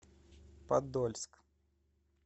подольск